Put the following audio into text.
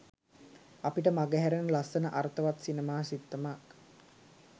අපිට මඟහැරෙන ලස්සන අර්ථවත් සිනමා සිත්තමක්